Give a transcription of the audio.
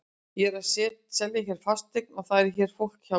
Ég er að selja hér fasteign og það er hér fólk hjá mér.